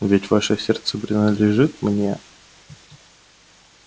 ведь ваше сердце принадлежит мне